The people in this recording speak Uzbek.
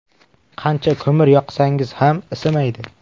Qancha ko‘mir yoqsangiz ham isimaydi.